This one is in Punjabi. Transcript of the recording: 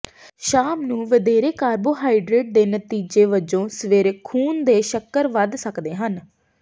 ਸ਼ਾਮ ਨੂੰ ਵਧੇਰੇ ਕਾਰਬੋਹਾਈਡਰੇਟ ਦੇ ਨਤੀਜੇ ਵੱਜੋਂ ਸਵੇਰੇ ਖੂਨ ਦੇ ਸ਼ੱਕਰ ਵਧ ਸਕਦੇ ਹਨ